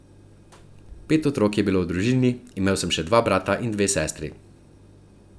Pet otrok je bilo v družini, imel sem še dva brata in dve sestri.